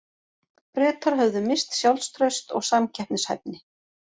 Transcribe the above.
Bretar höfðu misst sjálfstraust og samkeppnishæfni.